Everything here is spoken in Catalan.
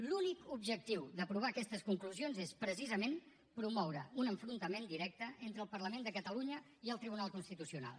l’únic objectiu d’aprovar aquestes conclusions és precisament promoure un enfrontament directe entre el parlament de catalunya i el tribunal constitucional